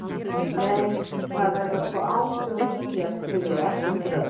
Nei, það verða sko Áslaug og Júlía sem sigra og ekkert röfl.